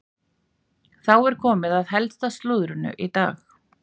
Þá er komið að helsta slúðrinu í dag.